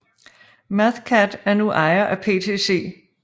Mathcad er nu ejet af PTC